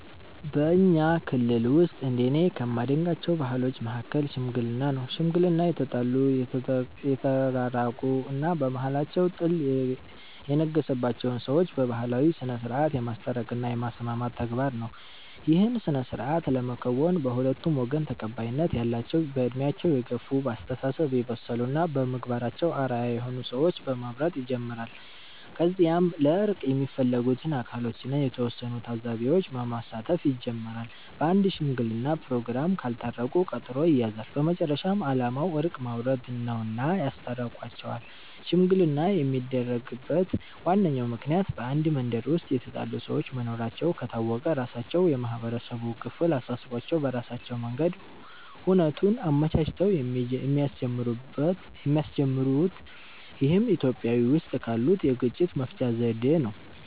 በኛ ክልል ውስጥ እንደኔ ከማደንቃቸው ባህሎች መሀከል "ሽምግልና" ነው። ሽምግልና የተጣሉ፣ የተቃቃሩ እና በመሃላቸው ጥል የነገሰባቸውን ሰዎች በባህላዊ ስነስርዓት የማስታረቅ እና የማስማማት ተግባር ነው። ይህን ስነስርዓት ለመከወን በሁለቱም ወገን ተቀባይነት ያላቸው በእድሜያቸው የገፍ፣ በአስተሳሰብ የበሰሉ እና በምግባራቸው አርአያ የሆኑ ሰዎችን በመምረጥ ይጀምራል። ከዚያም ለእርቅ የሚፈለጉት አካሎችን እና የተወሰኑ ታዛቢዎች በማሳተፍ ይጀመራል። በአንድ ሽምግለና ፕሮግራም ካልታረቁ ቀጠሮ ይያያዛል። በመጨረሻም አላማው እርቅ ማውረድ ነውና ያስታርቋቸዋል። ሽምግልና የሚደነቅበት ዋነኛው ምክንያት በአንድ መንደር ውስጥ የተጣሉ ሰዎች መኖራቸው ከታወቀ ራሳቸው የማህበረሰቡ ክፍል አሳስቧቸው በራሳቸው መንገድ ሁነቱን አመቻችተው የሚያስጀምሩት ይህም ኢትዮጵያዊ ውስጥ ካሉት የግጭት መፍቻ ዘዴ ነው።